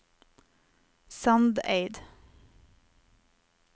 Sandeid